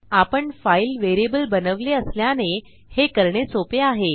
आपण file variable बनवले असल्याने हे करणे सोपे आहे